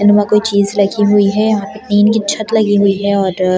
and वहां कोई चीज लगी हुई है यहाँ पे टीन की छत लगी हुई है और --